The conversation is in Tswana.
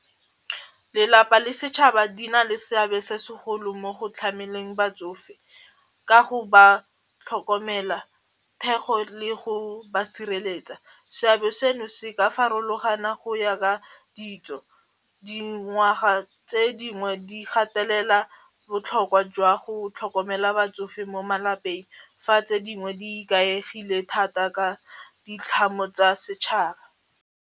Lelapa le setšhaba di na le seabe se segolo mo go tlhameleng batsofe ka go ba tlhokomela thekgo le go ba sireletsa, seabe seno se ka farologana go ya ka ditso dingwaga tse dingwe di gatelela botlhokwa jwa go tlhokomela batsofe mo malapeng fa tse dingwe di ikaegile thata ka ditlhamo tsa setšhaba.